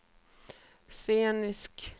scenisk